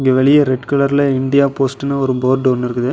இங்க வெளிய ரெட் கலர்ல இந்தியா போஸ்ட்ன்னு ஒரு போர்டு ஒன்னு இருக்குது.